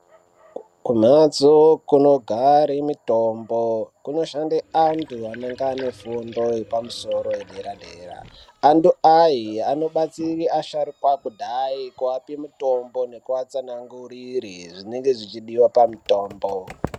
Kumhatso kunogare mutombo kunoshande anhu vanenga vane fundo yepamusoro yedera-dera Antu aya anobatsire asharuka kudai kuape mitombo nekuatsanangurire zvinenge zvichidiwa pamitombo.